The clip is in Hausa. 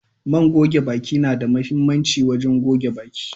man goge baki na da muhimmanci wurin wanke baki.